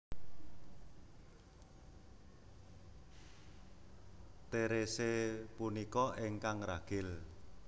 Therese punika ingkang ragil